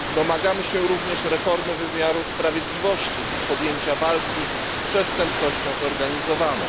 Domagamy się również reformy wymiaru sprawiedliwości i podjęcia walki z przestępczością zorganizowaną.